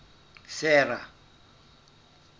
sera